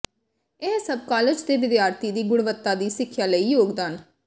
ਇਹ ਸਭ ਕਾਲਜ ਦੇ ਵਿਦਿਆਰਥੀ ਦੀ ਗੁਣਵੱਤਾ ਦੀ ਸਿੱਖਿਆ ਲਈ ਯੋਗਦਾਨ